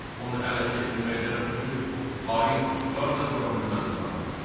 Onu ələ keçirməkdən ötrü xain pusqular da qura bilməzdim axı mən.